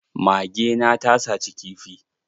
Mage na ta saci kifi.